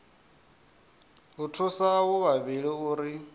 u thusa avho vhavhili uri